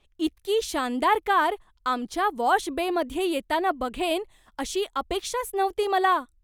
इतकी शानदार कार आमच्या वॉश बेमध्ये येताना बघेन अशी अपेक्षाच नव्हती मला.